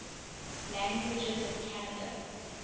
languages of canada